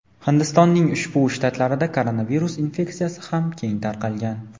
Hindistonning ushbu shtatlarida koronavirus infeksiyasi ham keng tarqalgan.